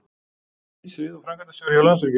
Nýtt svið og framkvæmdastjóri hjá Landsvirkjun